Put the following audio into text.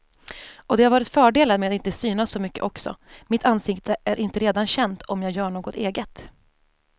Och det har varit fördelar med att inte synas så mycket också, mitt ansikte är inte redan känt om jag gör något eget.